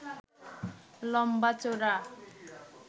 লম্বা চওড়া